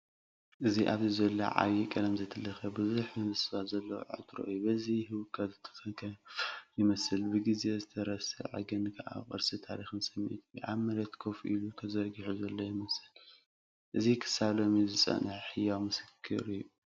እዚ ኣብዚ ዘሎ ዓቢ፡ ቀለም ዘይተለኽየ፡ ብዙሕ ምብስባስ ዘለዎ ዕትሮ እዩ። በቲ ህውከት ዝተተንከፈ ይመስል፣ ብግዜ ዝተረሰዐ፣ ግን ከኣ ቅርሲ ታሪኽን ስምዒትን እዩ። ኣብ መሬት ኮፍ ኢሉ፡ ተዘርጊሑ ዘሎ ይመስል። እዚ ክሳብ ሎሚ ዝጸንሐ ህያው ምስክር እዩ።